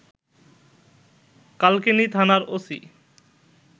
কালকিনি থানার ওসি